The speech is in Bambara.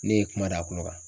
Ne ye kuma da a kulo kan.